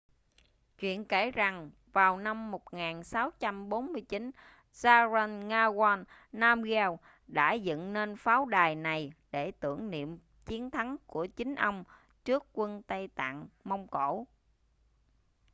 chuyện kể rằng vào năm 1649 zhabdrung ngawang namgyel đã dựng nên pháo đài này để tưởng niệm chiến thắng của chính ông trước quân tây tạng-mông cổ